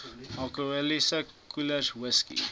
alkoholiese koelers whisky